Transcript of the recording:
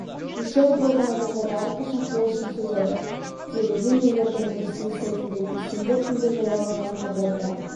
дұшар болған адамдарға әрқашан қол ұшын созады делінген елорданың ресми сайтында бейсенбі күнгі жарияланған хабарда